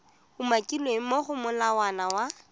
umakilweng mo go molawana wa